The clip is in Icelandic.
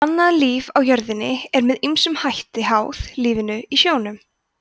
og annað líf á jörðinni er með ýmsum hætti háð lífinu í sjónum